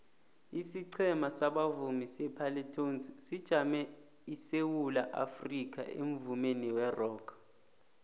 isiqhema sabavumi separlatones sijamele isewula afrikha emvumeni werock